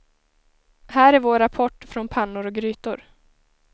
Här är vår rapport från pannor och grytor.